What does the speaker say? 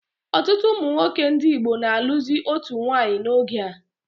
Ọtụtụ ụmụnwoke ndị Igbo na alụzi otu nwanyị n'oge a